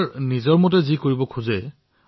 কোনোবা সমস্যাত আক্ৰান্ত হৈছে পৰীক্ষা কৰাওক